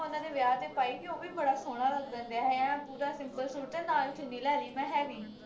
ਉਨ੍ਹਾਂ ਦੇ ਵਿਆਹ ਤੇ ਪਾਈ ਹੀ ਉਹ ਵੀ ਬੜਾ ਸੋਹਣਾ ਲੱਗਣ ਦਿਆ ਐ ਪੂਰਾ simple ਸੂਟ ਤੇ ਨਾਲ ਚੁੰਨੀ ਲੈ ਲੀ ਮੈਂ heavy